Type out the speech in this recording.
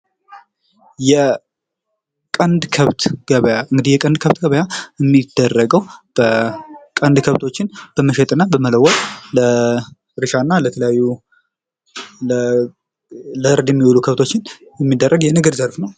የቀንድ ከብት ገበያ የሚደረገው በ ቀንድ ከብቶችን በመሸጥና በመለወጥ ለ እርሻ እና ለተለያዩ ለእርድ የሚሆን ከብቶችን የሚደረግ የንግድ ዘርፍ ነው።